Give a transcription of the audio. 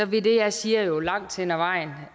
vil det jeg siger jo langt hen ad vejen